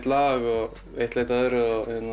lag og eitt leiddi af öðru